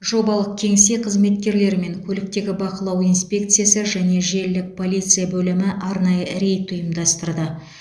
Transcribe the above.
жобалық кеңсе қызметкерлері мен көліктегі бақылау инспекциясы және желілік полиция бөлімі арнайы рейд ұйымдастырды